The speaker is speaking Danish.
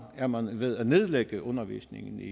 er man ved at nedlægge undervisningen i